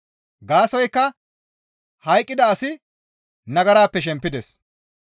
Gaasoykka hayqqida asi nagarappe shempides.